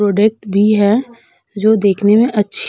product भी है जो देखने में अच्छी --